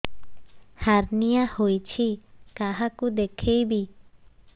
hernia ହୋଇଛି କାହାକୁ ଦେଖେଇବି